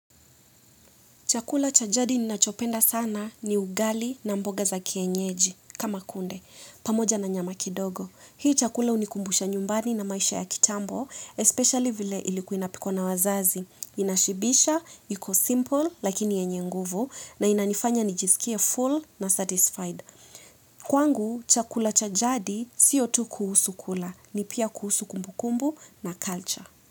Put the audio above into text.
Chakula cha jadi ninachopenda sana ni ugali na mboga za kienyeji, kama kunde, pamoja na nyama kidogo. Hii chakula hunikumbusha nyumbani na maisha ya kitambo, especially vile ilikuwa inapikwa na wazazi. Inashibisha, iko simple, lakini yenye nguvu, na inanifanya nijisikie full na satisfied. Kwangu, chakula cha jadi si tu kuhusu kula, ni pia kuhusu kumbukumbu na culture.